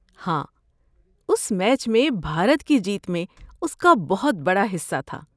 ہاں، اس میچ میں بھارت کی جیت میں اس کا بہت بڑا حصہ تھا۔